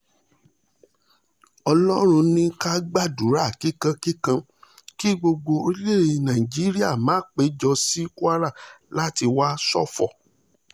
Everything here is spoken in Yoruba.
ọlọ́run ní ká gbàdúrà kíkankíkan kí gbogbo orílẹ̀‐èdè nàíjíríà má péjọ sí kwara láti wáá ṣòfò